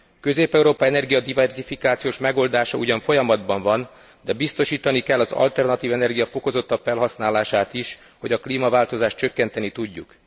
Közép Európa energiadiverzifikációs megoldása ugyan folyamatban van, de biztosítani kell az alternatív energia fokozottabb felhasználását is, hogy a klímaváltozást csökkenteni tudjuk.